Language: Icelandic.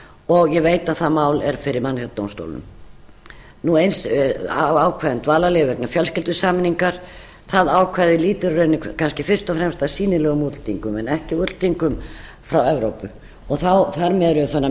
og ég veit að það mál er fyrir mannréttindadómstólum eins af ákvæði um dvalarleyfi vegna fjölskyldusameiningar það ákvæði lýtur í rauninni kannski fyrst og fremst að sýnilegum útlendingum en ekki útlendingum frá evrópu þar með erum við farin að